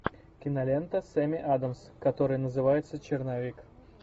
кинолента с эми адамс которая называется черновик